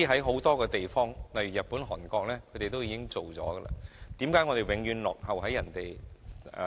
很多地方，例如日本和韓國均已經實行，為何香港永遠落後於人？